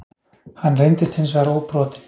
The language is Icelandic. Hann reyndist hins vegar óbrotinn